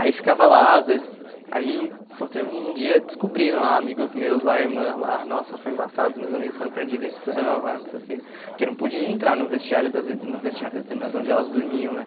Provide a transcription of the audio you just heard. Aí ficava lá, às vezes, aí, foi teve um dia descobriram, lá, amigos meus, lá, irmã, lá, nossa, foi embaçado, os meus amigos foram para a direção, lá, não sei o quê, porque não podia entrar no vestiário das ir no vestiário das irmãs, onde elas dormiam, né?